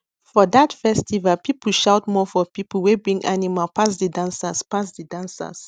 for that festival people shout more for people wey bring animal pass the dancers pass the dancers